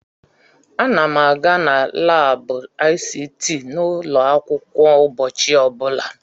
Ana m aga na laabụ ICT n'ụlọ akwụkwọ ụbọchị ọbụla.